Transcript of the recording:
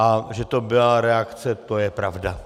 A že to byla reakce, to je pravda.